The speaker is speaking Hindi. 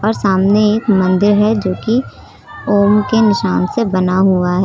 सामने एक मंदिर है जो कि ओम के निशान से बना हुआ है।